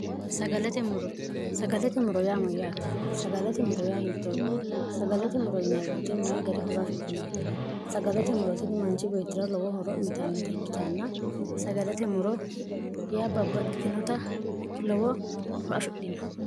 sagalate muro yaa moyyaati sagalate muro yaa hii0ooti sagalate muro ynwte mayi gari horo afidhino sagalate murotini manchi beettira lowo horo uyitannota ikkitaanna sagalate muro yaa babbaxxitinota lowo ho afidhino